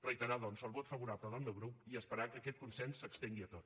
reiterar doncs el vot favorable del meu grup i esperar que aquest consens s’estengui a tot